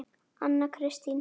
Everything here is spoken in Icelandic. Anna Kristín